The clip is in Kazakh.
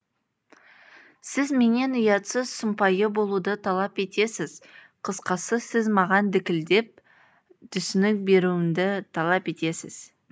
сіз менен ұятсыз сұмпайы болуды талап етесіз қысқасы сіз маған дікілдеп түсінік беруімді талап етесіз